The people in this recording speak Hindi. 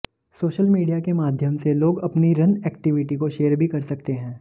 सोशल मीडिया के माध्यम से लोग अपनी रन एक्टिविटी को शेयर भी कर सकते है